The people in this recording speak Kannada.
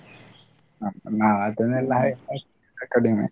ಹ ನಾವ್ ಅದನೆಲ್ಲ ಕಡಿಮೆ.